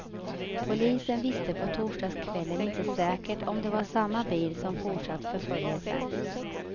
Polisen visste på torsdagskvällen inte säkert om det var samma bil som fortsatt förföljelsen.